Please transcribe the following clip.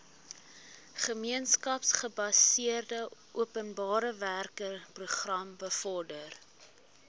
gemeenskapsgebaseerde openbarewerkeprogram bevorder